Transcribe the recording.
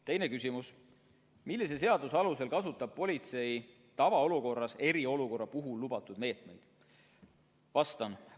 Teine küsimus: "Millise seaduse alusel kasutab politsei tavaolukorras eriolukorra puhul lubatud meetmeid?